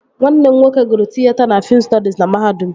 Nwanne m nwoke gụrụ tịyeta na fiim stọdis na mahadum